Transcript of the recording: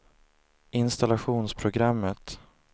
installationsprogrammet